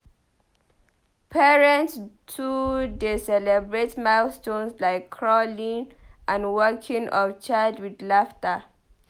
Parents too dey celebrate milestones like crawling and walking of child with laughter.